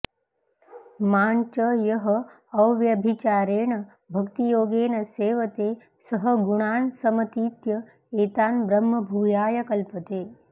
मां च यः अव्यभिचारेण भक्तियोगेन सेवते सः गुणान् समतीत्य एतान् ब्रह्मभूयाय कल्पते